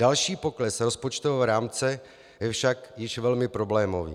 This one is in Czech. Další pokles rozpočtového rámce je však již velmi problémový.